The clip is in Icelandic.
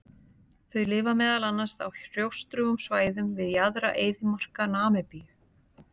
Þau lifa meðal annars á hrjóstrugum svæðum við jaðra eyðimarka Namibíu.